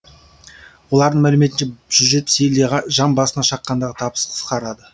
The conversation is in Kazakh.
олардың мәліметінше жүз жетпіс елде жан басына шаққандағы табыс қысқарады